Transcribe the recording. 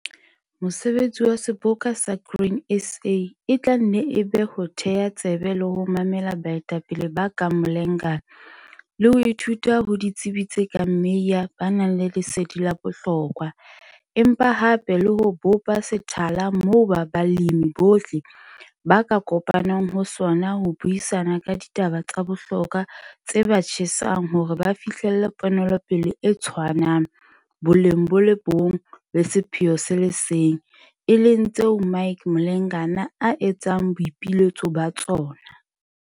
Mosebetsi wa Seboka sa Grain SA e tla nne e be ho theha tsebe le ho mamela baetapele ba kang Mlengana le ho ithuta ho ditsebi tse kang Meyer ba nang le lesedi la bohlokwa, empa hape le ho bopa sethala moo balemi bohle b aka kopanang ho sona ho buisana ka ditaba tsa bohlokwa tse ba tjhesang hore ba fihlelle ponelopele e tshwanang, boleng bo le bong le sepheo se le seng, e leng tseo Mike Mhlengana a etsang boipiletso ba tsona.